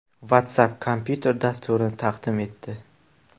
WhatsApp kompyuter dasturini taqdim etdi.